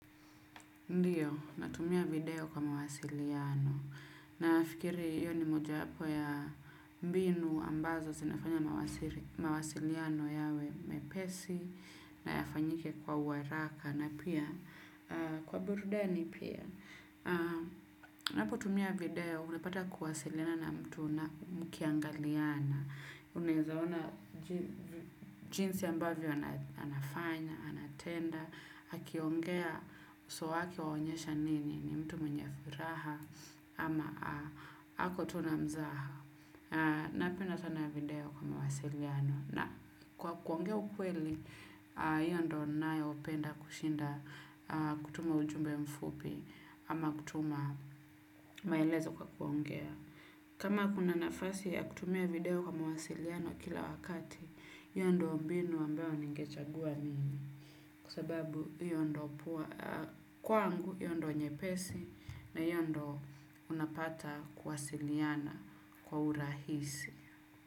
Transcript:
Ndiyo natumia video kwa mawasiliano nafikiri hiyo ni moja wapo ya mbinu ambazo zinafanya mawasiliano yawe mepesi na yafanyike kwa haraka na pia kwa burudani pia napo tumia video unapata kuwasilina na mtu mkiangaliana unawezaona jinsi ambavyo anafanya anatenda akiongea uso wake honyesha nini ni mtu mwenye furaha ama ako tu na mzaha napenda sana video kwa mawasiliano na kwa kuongea ukweli hiyo ndio ninayo penda kushinda kutuma ujumbe mfupi. Ama kutuma maelezo kwa kuongea. Kama kuna nafasi ya kutumia video kwa wasiliano kila wakati hiyo ndio mbinu ambayo ningechagua mimi. Kwa sababu hiyo ndio poa kwangu hiyo ndiyo nyepesi. Na hiyo ndio unapata kuwasiliana kwa urahisi.